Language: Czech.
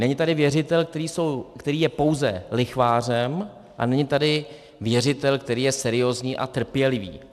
Není tady věřitel, který je pouze lichvářem, a není tady věřitel, který je seriózní a trpělivý.